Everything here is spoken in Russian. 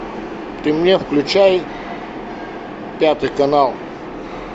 ты мне включай пятый канал